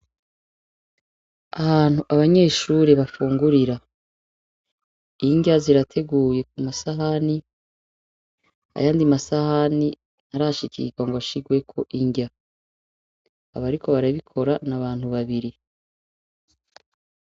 Ahantu abanyeshuri bafungurira, indya zirateguye ku masahani, ayandi masahani ntarashikirwa ngo ashirweko indya. Abariko barabikora ni abantu babiri.